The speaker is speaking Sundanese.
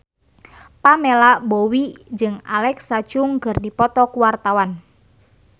Pamela Bowie jeung Alexa Chung keur dipoto ku wartawan